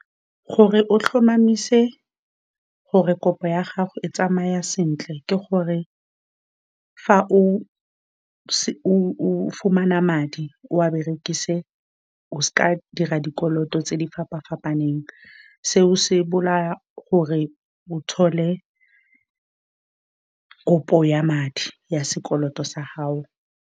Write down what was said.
Gore o tlhomamise gore kopo ya gago e tsamaya sentle, ke gore fa o o fumana madi, o a berekise. O se ka wa dira dikoloto tse di fapa-fapaneng, seo se bolaya gore o kopo ya madi ya sekoloto sa hao.